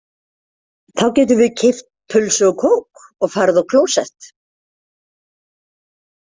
Þá getum við keypt pulsu og kók og farið á klósett